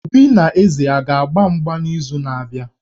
Obi na Eze a ga-agba mgba n'izu na-abịa?